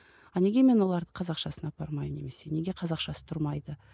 а неге мен оларды қазақшасына апармаймын немесе неге қазақшасы тұрмайды